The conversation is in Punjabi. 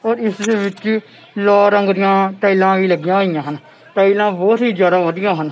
ਔਰ ਇਸਦੇ ਵਿੱਚ ਲਾਲ ਰੰਗ ਦੀਆ ਟਾਈਲਾਂ ਵੀ ਲੱਗੀਆਂ ਹੋਈਆਂ ਹਨ ਟਾਈਲਾਂ ਬਹੁਤ ਹੀ ਜਿਆਦਾ ਵਧੀਆ ਹਨ।